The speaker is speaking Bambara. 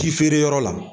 Ti feereyɔrɔ la